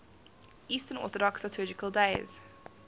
eastern orthodox liturgical days